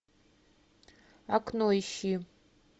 окно ищи